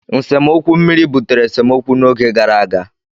nsemokwu mmiri butere esemokwu n'oge gara aga.